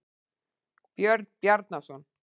Björn Bjarnarson.